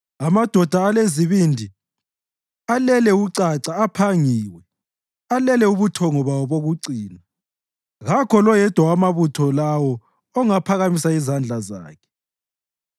Amadoda alezibindi alele ucaca aphangiwe, alele ubuthongo bawo bokucina; kakho loyedwa wamabutho lawo ongaphakamisa izandla zakhe.